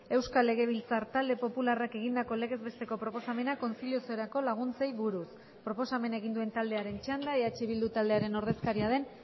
euskal legebiltzar talde popularrak egindako legez besteko proposamena kontziliaziorako laguntzei buruz proposamena egin duen taldearen txanda eh bildu taldearen ordezkaria den